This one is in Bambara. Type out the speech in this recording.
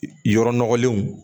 Yɔrɔ nɔgɔlenw